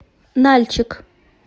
нальчик